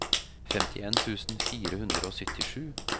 femtien tusen fire hundre og syttisju